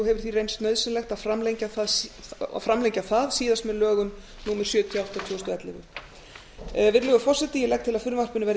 og hefur því reynst nauðsynlegt að framlengja það síðast með lögum númer sjötíu og átta tvö þúsund og ellefu virðulegur forseti ég legg til að frumvarpinu verði